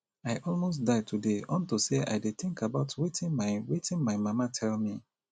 i almost die today unto say i dey think about wetin my wetin my mama tell me